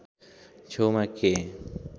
छेउमा के